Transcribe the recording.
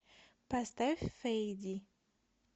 поставь фэйди